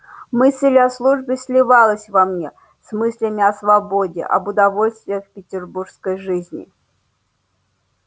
мысль о службе сливалась во мне с мыслями о свободе об удовольствиях петербургской жизни